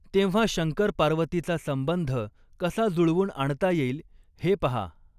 तेंव्हा शंकरपार्वतीचा संबंध कसा जुळवून आणता येईल हे पहा